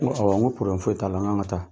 N ko awɔ n ko foyi t'a la n k'an ka taa.